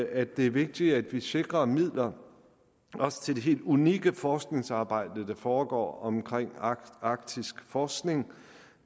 at det er vigtigt at vi sikrer midler også til det helt unikke forskningsarbejde der foregår omkring arktisk forskning